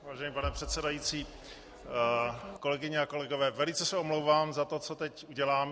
Vážený pane předsedající, kolegyně a kolegové, velice se omlouvám za to, co teď udělám.